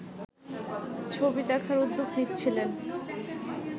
ছবি দেখার উদ্যোগ নিচ্ছিলেন